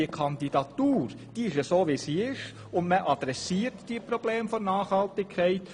Die Kandidatur ist, wie sie ist, und man adressiert die Probleme der Nachhaltigkeit.